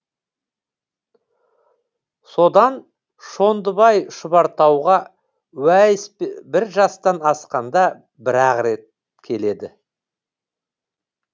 содан шондыбай шұбартауға уәйіс бір жастан асқанда бір ақ рет келеді